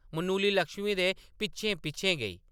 मनुली लक्ष्मी दे पिच्छें-पिच्छें गेई ।